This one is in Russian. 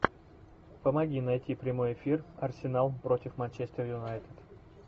помоги найти прямой эфир арсенал против манчестер юнайтед